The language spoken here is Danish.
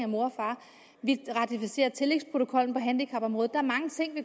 mor og far vi ratificerer tillægsprotokollen på handicapområdet